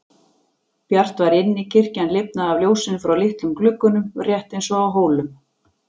Bjart var inni, kirkjan lifnaði af ljósinu frá litlum gluggunum rétt eins og á Hólum.